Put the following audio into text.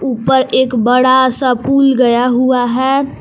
ऊपर एक बड़ा सा पुल गया हुआ है।